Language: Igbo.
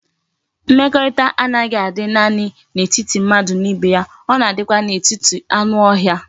Mmekorita a naghi adi nani na etiti mmadu na ibe ya,o na adikwa na etiti anu ohia